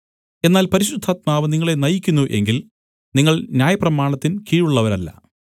എന്നാൽ പരിശുദ്ധാത്മാവ് നിങ്ങളെ നയിക്കുന്നു എങ്കിൽ നിങ്ങൾ ന്യായപ്രമാണത്തിൻ കീഴുള്ളവരല്ല